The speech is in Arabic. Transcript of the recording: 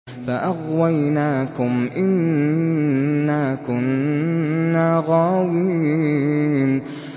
فَأَغْوَيْنَاكُمْ إِنَّا كُنَّا غَاوِينَ